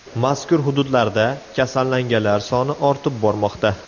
Mazkur hududlarda kasallanganlar soni ortib bormoqda.